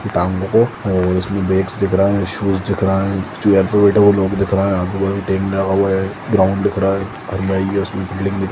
आपको horse belts दिख रहे है शूज दिख रहा है जो अठेलित है वो लोग दिख रहे है आजु बाजु टीन लगा हुआ है ग्राउन्ड दिख रहा है यश की --